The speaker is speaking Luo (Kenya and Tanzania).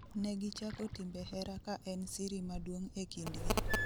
Negichako timbe hera ka en siri maduong' e kind gi